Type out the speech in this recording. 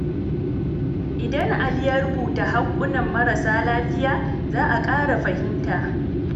Idan Ali ya rubuta haƙƙonan marasa lafiya, za a ƙara fahimta.